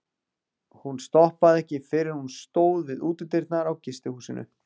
Hún stoppaði ekki fyrr en hún stóð við útidyrnar á gistihúsinu.